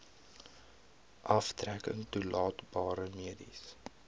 aftrekking toelaatbare mediese